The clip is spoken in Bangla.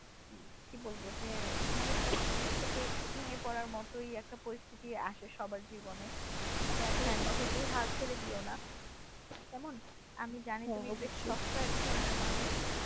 কি বলবো যে মোনোসোক্ত থেকে একটু ভেঙে পড়া মতোই একটা পরিস্থিতি আসে সবার জীবনে তবে এত সহজেই হাল ছেড়ে দিও না কেমন আমি জানি তুমি একজন শক্ত ধরনের মানুষ।